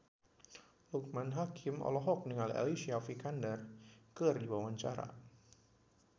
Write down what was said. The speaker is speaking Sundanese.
Loekman Hakim olohok ningali Alicia Vikander keur diwawancara